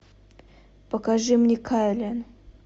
покажи мне кайлен